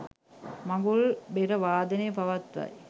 මඟුල් බෙර වාදනය පවත්වයි